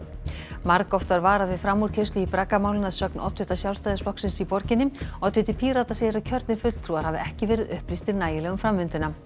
margoft var varað við framúrkeyrslu í braggamálinu að sögn oddvita Sjálfstæðisflokksins í borginni oddviti Pírata segir að kjörnir fulltrúar hafi ekki verið upplýstir nægilega um framvinduna